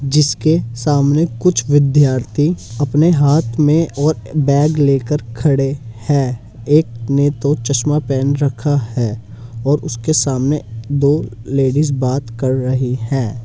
जिसके सामने कुछ विद्यार्थी अपने हाँथ में और बैग लेकर खड़े हैं। एक ने तो चश्मा पहन रक्खा है। और उसके सामने दो लेडिस बात कर रही हैं।